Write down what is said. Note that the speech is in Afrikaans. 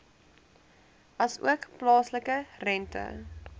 asook plaaslike rente